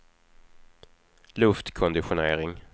luftkonditionering